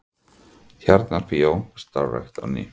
Tjarnarbíó starfrækt á ný